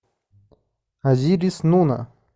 азирис нуна